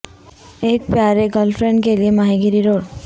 ایک پیارے girlfriend کے لئے ماہی گیری روڈ